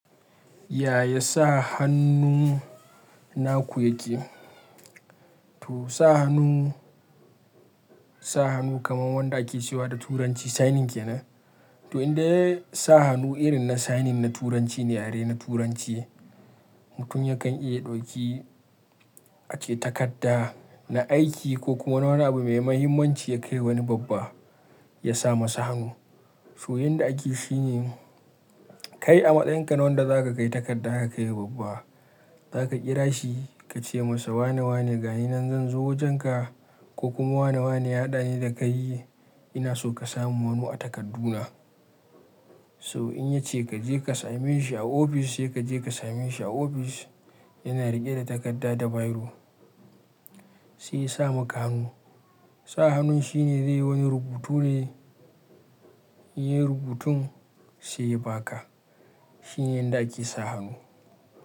Yaya sa hannu na ku yake? To sa hannu, sa hannu kamar wanda ake cewa da turanci signing kenan. To inda sa hannu irin na signing na turanci ne, yare na turanci mutum yakan iya ɗauki ake takarda na aiki ko kuma wani abu mai mahimmanci ya kai wa wani babba ya sa masa hannu. So inda ake shi ne kai a matsayin ka na wanda za ka kai takarda aka kai wa babba, za ka kira shi ka ce masa wane wane ga ni nan zan zo wajenka ko kuma wane wane ya haɗa ni da kai ina so ka samun hannu a takardu na. So in ya ce ka je ka same shi a ofis, sai ka je ka same shi a ofis yana riƙe da takarda da biro sai yasa maka hannu. Sa hannun shine zai wani rubutu ne, in ya yi rubutun sai ya ba ka. Shine inda ake sa hannu.